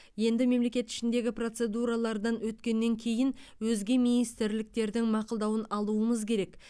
енді мемлекет ішіндегі процедуралардан өткеннен кейін өзге министрліктердің мақұлдауын алуымыз керек